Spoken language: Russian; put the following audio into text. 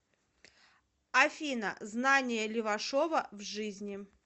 афина знания левашова в жизни